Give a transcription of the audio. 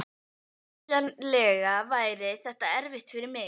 Skiljanlega væri þetta erfitt fyrir mig.